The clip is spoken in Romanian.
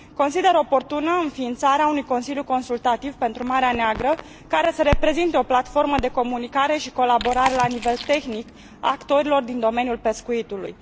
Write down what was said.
Consider oportună înființarea unui consiliu consultativ pentru Marea Neagră, care să reprezinte o platformă de comunicare și colaborare la nivel tehnic a actorilor din domeniul pescuitului.